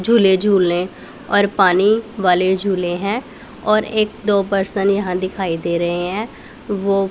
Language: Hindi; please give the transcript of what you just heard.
झूले झूले और पानी वाले झूले हैं और एक दो पर्सन यहां दिखाई दे रहे हैं वो--